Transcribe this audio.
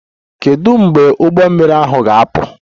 Kedu mgbe ụgbọ mmiri ahụ ga-apụ?